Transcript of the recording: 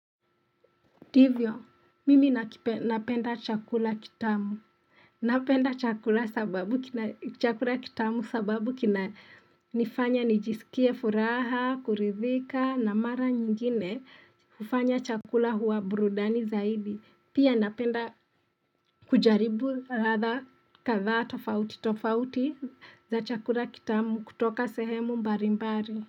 Divyo, mimi napenda chakula kitamu. Napenda chakula kitamu sababu kina nifanya nijisikie furaha, kuridhika, na mara nyingine ufanya chakula huwa burudani zaidi. Pia napenda kujaribu ratha katha tofauti tofauti za chakula kitamu kutoka sehemu mbarimbari.